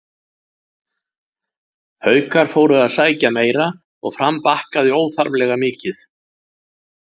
Haukar fóru að sækja meira og Fram bakkaði óþarflega mikið.